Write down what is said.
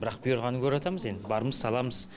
бірақ бұйырғанын көріватамыз енді барымыз саламыз